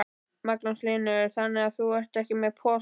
Magnús Hlynur: Þannig að þú ert ekki með posa?